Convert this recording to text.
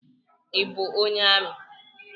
I bụ onye ami?